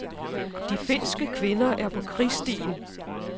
De finske kvinder er på krigsstien.